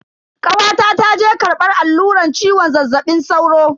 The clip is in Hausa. Kawata ta je karbar alluran ciwon zazzabin sauro.